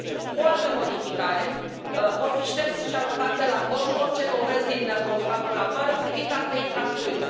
O altă modificare vor fi șterse și aruncate la coș orice dovezi din calculatoare privind alte infracțiuni.